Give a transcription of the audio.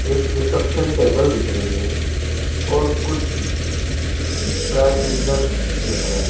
एक reception table दिख रही है और कुछ ड्राई क्लीनर्स दिख रहे--